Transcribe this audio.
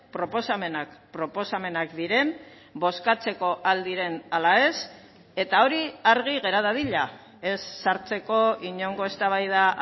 proposamenak proposamenak diren bozkatzeko al diren ala ez eta hori argi gera dadila ez sartzeko inongo eztabaida